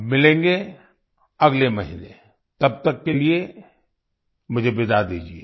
अब मिलेंगे अगले महीने तब तक के लिए मुझे विदा दीजिए